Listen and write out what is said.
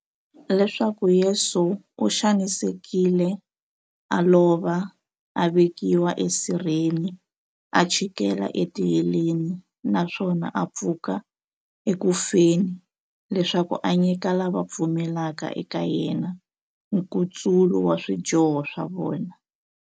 Leswaku Yesu u xanisekile, a lova, a vekiwa e sirheni, a chikela e tiheleni, naswona a pfuka eku feni, leswaku a nyika lava va pfumelaka eka yena, nkutsulo wa swidyoho swa vona.